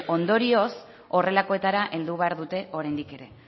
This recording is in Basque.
ondorioz horrelakoetara heldu behar dute oraindik ere